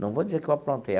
Não vou dizer que eu aprontei.